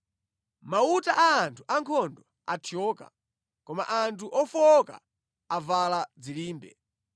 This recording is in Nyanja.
“Mauta a anthu ankhondo athyoka koma anthu ofowoka avala dzilimbe.